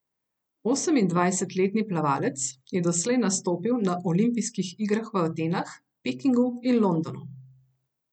Osemindvajsetletni plavalec je doslej nastopil na olimpijskih igrah v Atenah, Pekingu in Londonu.